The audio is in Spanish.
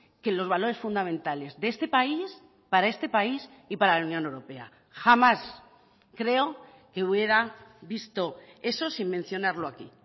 que los valores fundamentales de este país para este país y para la unión europea jamás creo que hubiera visto eso sin mencionarlo aquí